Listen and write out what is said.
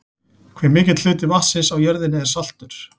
Hve mikill hluti vatnsins á jörðinni er saltur?